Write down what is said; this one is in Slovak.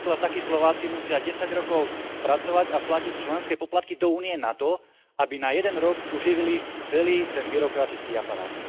Veď napríklad takí Slováci musia desať rokov pracovať a platiť členské poplatky do Únie nato, aby na jeden rok uživili celý ten byrokratický aparát.